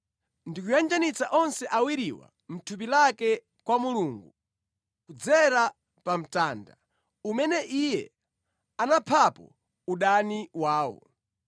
ndi kuyanjanitsa onse awiriwa mʼthupi lake kwa Mulungu, kudzera pa mtanda, umene Iye anaphapo udani wawo.